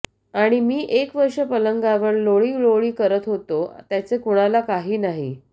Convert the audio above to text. आणि मी एक वर्ष पलंगावर लोळीलोळी करत होतो त्याचे कुणाला काही नाही